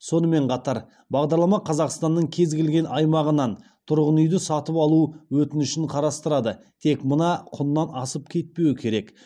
сонымен қатар бағдарлама қазақстанның кез келген аймағынан тұрғын үйді сатып алу өтінішін қарастырады тек мына құннан асып кетпеуі керек